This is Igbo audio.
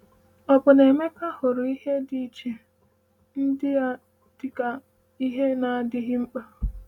“Ò bụ na Emeka hụrụ ihe dị iche ndị a dịka ihe na-adịghị mkpa?”